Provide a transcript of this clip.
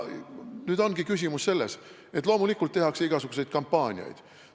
Nüüd ongi küsimus selles, et loomulikult tehakse igasuguseid kampaaniaid.